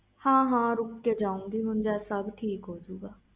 ਹਾਂ ਹਾਂ ਰੁਕ ਕੇ ਜਾਓ ਜਦ ਸਬ ਕੁਛ ਠੀਕ ਹੋ ਜੋ